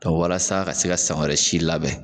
Ka walasa ka se ka san wɛrɛ si labɛn.